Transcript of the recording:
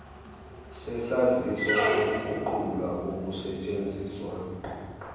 sesaziso sokuguqulwa kokusesthenziswa